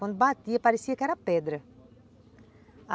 Quando batia, parecia que era pedra.